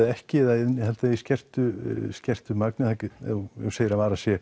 ekki eða innihaldi þau í skertu skertu magni ef þú segir að vara sé